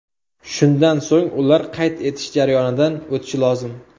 Shundan so‘ng ular qayd etish jarayonidan o‘tishi lozim.